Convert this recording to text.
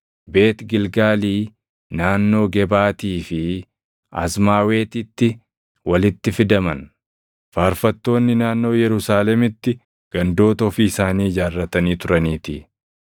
Beet Gilgaalii, naannoo Gebaatii fi Azmaawetitti walitti fidaman; faarfattoonni naannoo Yerusaalemitti gandoota ofii isaanii ijaarratanii turaniitii.